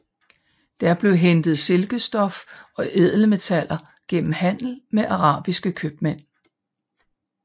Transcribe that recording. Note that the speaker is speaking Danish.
Der blev hentet silkestof og ædelmetaller gennem handel med arabiske købmænd